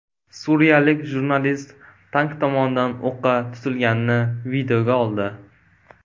Suriyalik jurnalist tank tomonidan o‘qqa tutilganini videoga oldi.